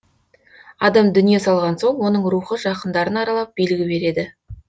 адам дүние салған соң оның рухы жақындарын аралап белгі береді